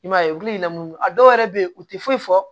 I m'a ye u bi lamunu a dɔw yɛrɛ bɛ ye u ti foyi fɔ